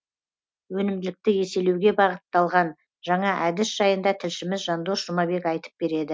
өнімділікті еселеуге бағыттылған жаңа әдіс жайында тілшіміз жандос жұмабек айтып береді